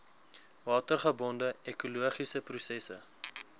watergebonde ekologiese prosesse